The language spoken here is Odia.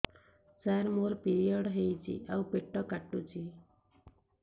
ସାର ମୋର ପିରିଅଡ଼ ହେଇଚି ଆଉ ପେଟ କାଟୁଛି